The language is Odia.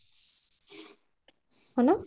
ହଁ ନା